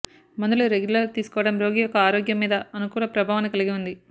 మందులు రెగ్యులర్ తీసుకోవడం రోగి యొక్క ఆరోగ్యం మీద అనుకూల ప్రభావాన్ని కలిగి ఉంది